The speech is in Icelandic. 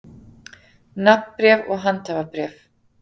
Nafnbréf og handhafabréf.